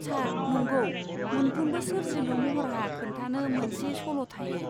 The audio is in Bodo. सार, नंगौ। मोनफ्रोमबो सोरजिलु महरहा खोन्थानो मोनसे सल' थायो।